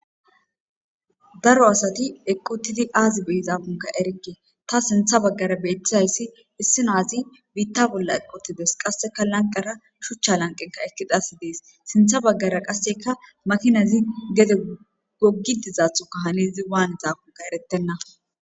Daro asati eqqotidi aazi be izaafunka erekke ta sintha baggara beettizayssi issinaazi biitta bolla eqotides qasseka lanqara shuchcha lanqenka ekidasi dies sintha baggara qasseka makinazi gede goggi dizaathoka hanizi waan izaafunka erettenna.